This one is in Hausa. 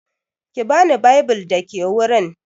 Ki bani bible da ke wurin.